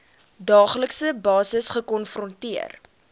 daaglikse basis gekonfronteer